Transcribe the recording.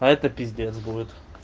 а это пиздец будет